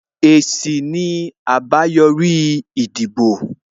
Èsì ni àbáyòrí ìdìbò